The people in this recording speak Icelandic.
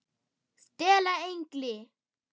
STELA ENGLI!